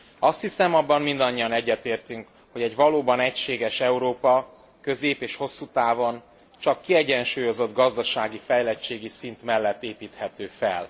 Azt hiszem, abban mindannyian egyetértünk, hogy egy valóban egységes Európa közép és hosszú távon csak kiegyensúlyozott gazdasági fejlettségi szint mellett építhető fel.